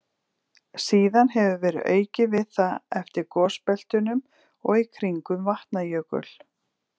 Síðan hefur verið aukið við það eftir gosbeltunum og í kringum Vatnajökul.